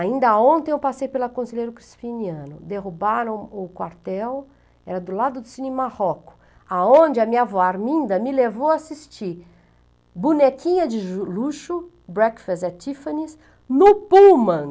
Ainda ontem eu passei pela Conselheiro Crispiniano, derrubaram o quartel, era do lado do Cine Marroco, aonde a minha avó Arminda me levou a assistir Bonequinha de Luxo, Breakfast at Tiffany's, no Pullman.